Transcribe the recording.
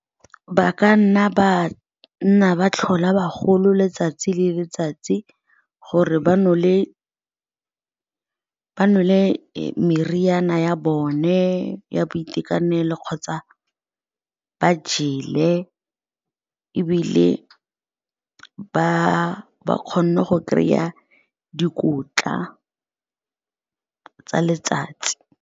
Ba ka nna ba nna ba tlhola bagolo letsatsi le letsatsi gore ba nole le meriana ya bone ya boitekanelo le kgotsa ba jele ebile ba ba kgone go kry-a dikotla tsa letsatsi.